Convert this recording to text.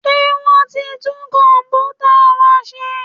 Ṣé wọ́n ti tún Kọ̀m̀pútà wa ṣe?